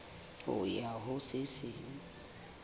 ho ya ho se seng